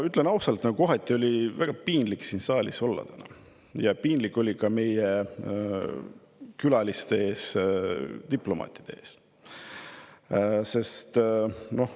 Ütlen ausalt, kohati oli väga piinlik siin saalis olla, ja piinlik oli ka meie külaliste, diplomaatide ees.